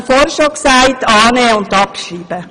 Den Punkt 3 sollten Sie annehmen und abschreiben.